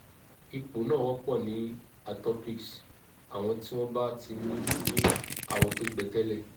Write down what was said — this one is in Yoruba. ipo na wopo ni atopics; awon ti won ba ti ni ni awo to gbe tele